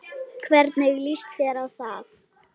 Hvernig líst þér á það?